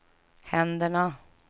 händerna